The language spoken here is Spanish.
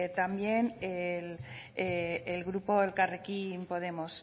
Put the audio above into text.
también el grupo elkarrekin podemos